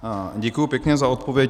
Děkuji pěkně za odpověď.